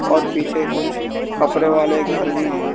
और पीछे कुछ कपड़े वाले घर भी हैं।